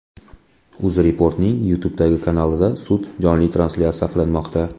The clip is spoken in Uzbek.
UzReport’ning YouTube’dagi kanalida sud jonli translyatsiya qilinmoqda.